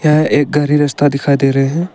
यह एक गहरी रास्ता दिखाई दे रहे हैं।